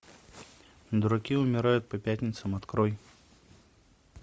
дураки умирают по пятницам открой